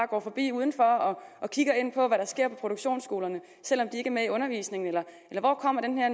går forbi udenfor og kigger ind på hvad sker på produktionsskolerne selv om de ikke er med i undervisningen eller hvor kommer den her